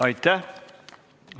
Aitäh!